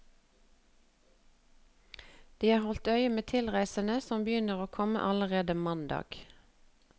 De har holdt øye med tilreisende som begynte å komme allerede mandag.